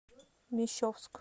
мещовск